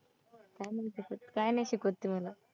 काय नाही तसंच, काय नाही शिकवत ती मला.